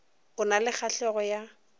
o na le kgahlego ya